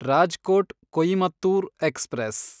Rajkot Coimbatore express